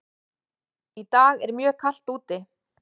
Í dag er mjög kalt úti.